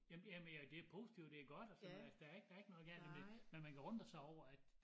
Jamen ja men ja det positivt det godt og sådan noget altså der ikke der ikke noget galt men men man kan undre sig over at